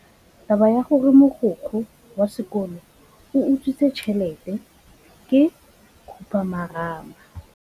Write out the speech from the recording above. Taba ya gore mogokgo wa sekolo o utswitse tšhelete ke khupamarama.